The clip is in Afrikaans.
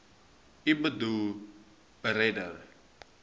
u boedel beredder